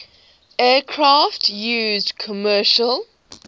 aircraft used commercial